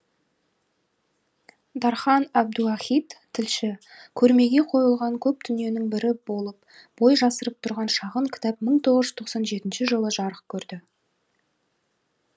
дархан әбдуахит тілші көрмеге қойылған көп дүниенің бірі болып бой жасырып тұрған шағын кітап мың тоғыз жүз тоқсан жетінші жылы жарық көрді